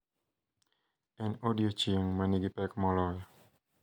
En odiechieng` manigi pek moloyo.